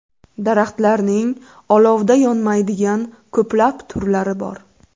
Daraxtlarning olovda yonmaydigan ko‘plab turlari bor.